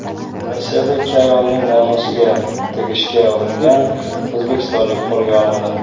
Rossiyada ikki ayolning nomusiga tegishga uringan o‘zbekistonlik qo‘lga olindi.